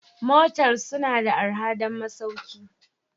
Motels suna da arha don masauki